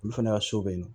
Olu fana ka so bɛ yen nɔ